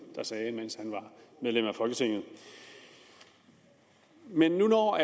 der sagde mens af folketinget men når